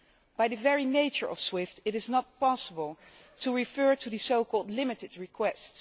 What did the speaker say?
By the very nature of SWIFT, it is not possible to refer to the so called limited' requests.